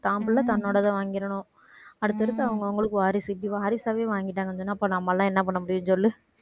தான் பிள்ளை தன்னோடதை வாங்கிரணும் அடுத்தடுத்து அவங்க அவங்களுக்கு வாரிசு இப்படி வாரிசாவே வாங்கிட்டாங்கன்னு சொன்னா அப்ப நம்ம எல்லாம் என்ன பண்ண முடியும் சொல்லு